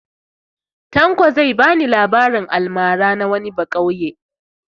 Tanko zai ba ni labarin almara na wani baƙauye.